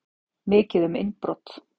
Mikið um innbrot